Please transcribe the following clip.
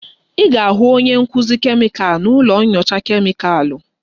Ị ga-ahụ onye nkuzi kemịkal na ụlọ nyocha kemịkalụ